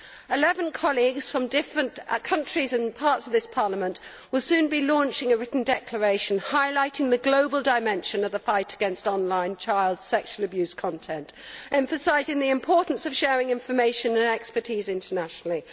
Eleven colleagues from different countries and parts of this Parliament will soon be launching a written declaration highlighting the global dimension of the fight against on line child sexual abuse content, emphasising the importance of sharing information and expertise internationally.